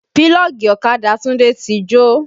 Pílọ́ọ̀gì ọ̀kadà Tunde ti jó